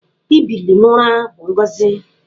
Ibili n'ụra bụ ngọzị.